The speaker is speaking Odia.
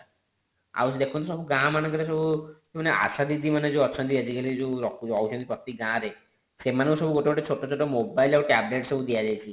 ଆଉ ଦେଖନ୍ତୁ ସବୁ ଗାଁ ମାନଙ୍କରେ ସବୁ ମାନେ ଆସା ଦିଦି ମାନେ ଯେଉଁ ଅଛନ୍ତି ଆଜି କାଲି ଯେଉଁ ରହୁଛନ୍ତି ପ୍ରତି ଗାଁ ରେ ସେମାନଙ୍କୁ ସବୁ ଗୋଟେ ଗୋଟେ ଛୋଟ ଛୋଟ mobile ଆଉ tablet ସବୁ ଦିଅ ଯାଇଛି